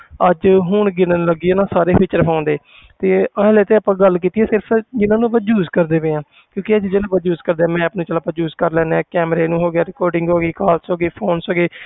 ਅੱਜ ਹੁਣ ਗਿਣਨ ਲੱਗੀਏ ਨਾ ਸਾਰੇ feature phone ਦੇ ਤੇ ਇਹਨਾਂ ਵਿੱਚ ਤਾਂ ਆਪਾਂ ਗੱਲ ਕੀਤੀ ਆ ਸਿਰਫ਼ ਜਿੰਨਾਂ ਨੂੰ ਆਪਾਂ use ਕਰਦੇ ਪਏ ਹਾਂ ਕਿਉਂਕਿ ਇਹ ਚੀਜ਼ਾਂ ਨੂੰ ਆਪਾਂ use ਕਰਦੇ ਹਾਂ map ਨੂੰ ਚੱਲ ਆਪਾਂ use ਕਰ ਲੈਂਦੇ ਹਾਂ camera ਨੂੰ ਹੋ ਗਿਆ recording ਹੋ ਗਈ ਹੋ ਗਏ phones ਹੋ ਗਏ